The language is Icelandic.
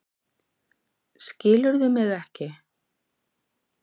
Skilurðu mig ekki?